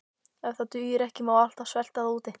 Ef það dugir ekki má alltaf svelta þá úti.